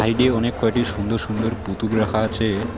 Side -এ অনেক কয়টি সুন্দর সুন্দর পুতুল রাখা আছে।